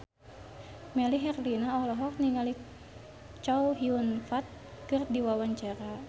Melly Herlina olohok ningali Chow Yun Fat keur diwawancara